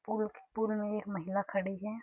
Pool के pool में एक महिला खड़ी है।